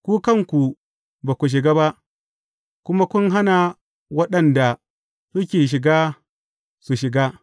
Ku kanku ba ku shiga ba, kuma kun hana wa waɗanda suke shiga, su shiga.